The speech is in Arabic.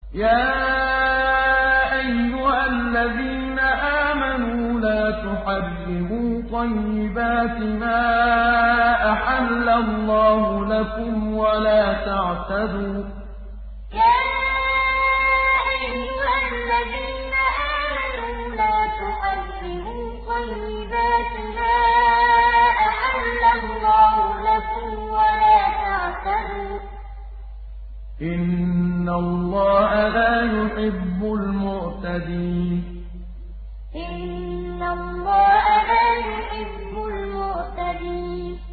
يَا أَيُّهَا الَّذِينَ آمَنُوا لَا تُحَرِّمُوا طَيِّبَاتِ مَا أَحَلَّ اللَّهُ لَكُمْ وَلَا تَعْتَدُوا ۚ إِنَّ اللَّهَ لَا يُحِبُّ الْمُعْتَدِينَ يَا أَيُّهَا الَّذِينَ آمَنُوا لَا تُحَرِّمُوا طَيِّبَاتِ مَا أَحَلَّ اللَّهُ لَكُمْ وَلَا تَعْتَدُوا ۚ إِنَّ اللَّهَ لَا يُحِبُّ الْمُعْتَدِينَ